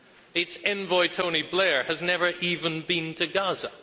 Its envoy, Tony Blair, has never even been to Gaza.